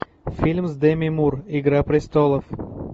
фильм с деми мур игра престолов